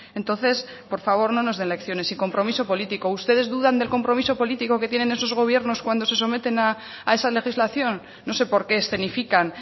entonces por favor no nos den lecciones y compromiso político ustedes dudan del compromiso político que tienen en esos gobiernos cuando se someten a esa legislación no sé por qué escenifican